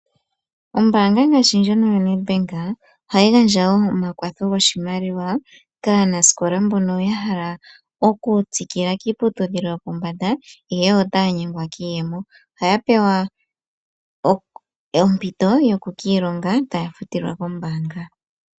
Ombaanga ngashi ndjono yo Nedbank ohayi gandja omakwatho goshimaliwa kaanasikola mbono ya hala okutsikila kiiputudhilo mbyono yopombanda ihe otaya nyengwa kiiyemo, ohaya pewa ompito yoku kiilonga taya futilwa kombaanga.